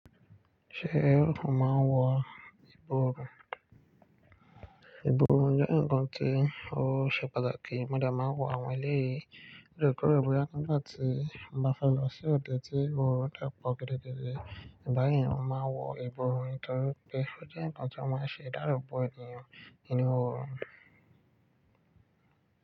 Ṣé ẹrú kun máa ń wà ọrùn? Ìbò ní ọ jẹ́ ǹkan tí ó ṣe pàtàkì. Modè máa ń wọ àwọn eléyìí, ti èmi kò ro pé nígbà tí n bá fẹ́ lọ sí ọ̀de tí mo rá Dapọ ogedegede. Ìbà yí mo máa ń wọ ebò ọrùn nítorí pé ó jẹ́ ǹkan tí wọ́n máa ń ṣe dàlú bọ́ ènìyàn.